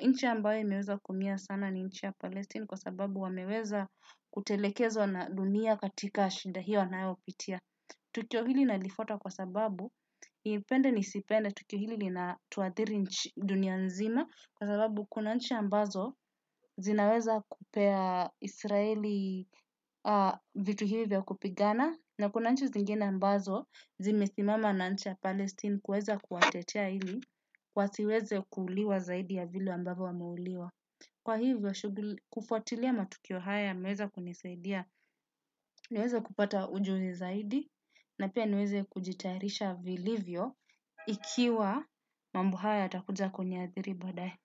Nchi ambayo imeweza kuumia sana ni nchi ya palestini kwa sababu wameweza kutelekezwa na dunia katika shinda hiyo anayopitia. Tukio hili nalifuata kwa sababu, nipende ni sipende tukio hili na tuadhiri dunia nzima kwa sababu kuna nchi ambazo zinaweza kupea israeli vitu hivi vya kupigana. Na kuna nchi zingine ambazo, zimesimama na nchi ya Palestine kuweza kuwatetea ili, wasiweze kuuliwa zaidi ya vile ambavyo wameuliwa. Kwa hivyo, kufuatilia matukio haya, yameweza kunisaidia, niweze kupata ujuzi zaidi, na pia niweza kujitayarisha vilivyo, ikiwa mambo haya yatakuja kuniadhiri baada ye.